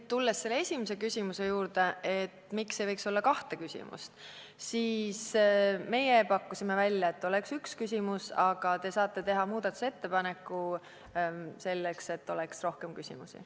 Tulles teie esimese küsimuse juurde, et miks ei võiks olla kahte küsimust, siis meie pakkusime välja, et oleks üks küsimus, aga te saate teha muudatusettepaneku, et oleks rohkem küsmusi.